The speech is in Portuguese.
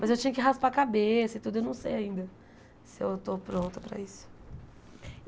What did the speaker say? Mas eu tinha que raspar a cabeça e tudo, eu não sei ainda se eu estou pronta para isso.